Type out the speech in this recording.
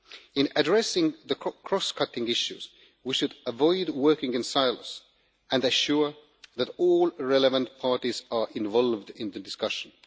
In addressing the cross cutting issues, we should avoid working in silos and ensure that all relevant parties are involved in discussions.